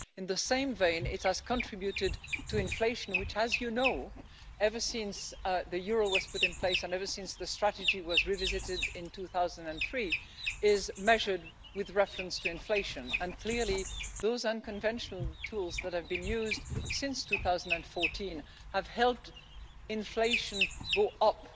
In the same vein, it has contributed to inflation which, as you know, ever since the euro was put in place and ever since the strategy was revisited in 2003, is measured with reference to inflation, and clearly those unconventional tools that have been used since 2014 have helped inflation go up